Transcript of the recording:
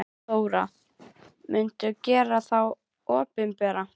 Þóra: Muntu gera þá opinbera?